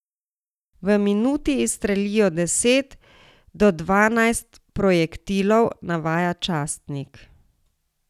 V minuti izstrelijo deset do dvanajst projektilov, navaja časnik.